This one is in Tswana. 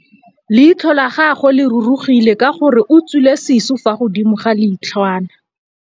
Leitlhô la gagwe le rurugile ka gore o tswile sisô fa godimo ga leitlhwana.